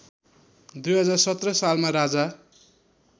२०१७ सालमा राजा